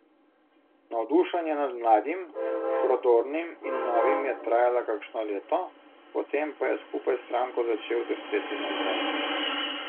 Navdušenje nad mladim, prodornim in novim je trajalo kakšno leto, potem pa je skupaj s stranko začel drseti navzdol.